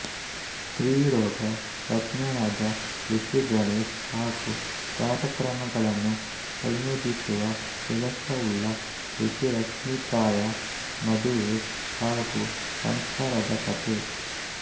ಸ್ತ್ರೀರೋಗ ತಜ್ಞನಾದ ಖುಷ್ಗಣೇಶ್ ಹಾಗೂ ಕಾರ್ಯಕ್ರಮಗಳನ್ನು ಸಂಯೋಜಿಸುವ ಕೆಲಸವುಳ್ಳ ಖುಷಿರಶ್ಮಿಕಾಯ ಮದುವೆ ಹಾಗು ಸಂಸಾರದ ಕಥೆ